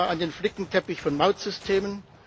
Ich denke da an den Flickenteppich von Mautsystemen.